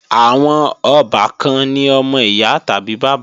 Àwọn ọbàkan ni ọmọ ìyá tàbí bàbá